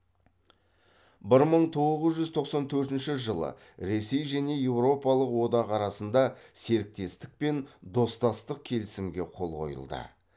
бір мың тоғыз жүз тоқсан төртінші жылы ресей және еуропалық одақ арасында серіктестік пен достастық келісімге қол қойылды